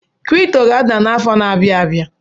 Kịrịpụtọ ga-ada n’afọ na-abịa abịa